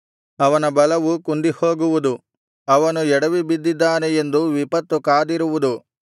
ಅವನ ಬಲವು ಕುಂದಿಹೋಗುವುದು ಅವನು ಎಡವಿ ಬಿದ್ದಾನೇ ಎಂದು ವಿಪತ್ತು ಕಾದಿರುವುದು